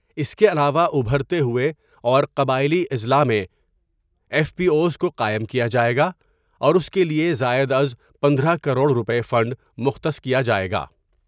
اس کے علاوہ ابھرتے ہوئے اور قبائیلی اضلاع میں ایف پی آو ایس کو قائم کیا جاۓ گا اور اس کے لیے زائداز پندرہ کروڑ روپئے فنڈ مختص کیا جاۓ گا ۔